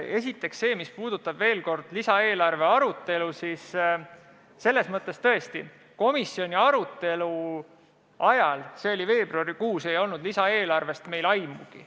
Esiteks, mis puudutab lisaeelarve arutelu, siis tõesti, komisjoni arutelu ajal, mis oli veebruarikuus, ei olnud meil lisaeelarvest aimugi.